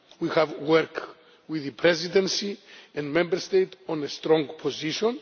We have worked with the Presidency and Member States on a strong position.